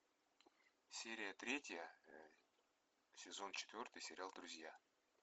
серия третья сезон четвертый сериал друзья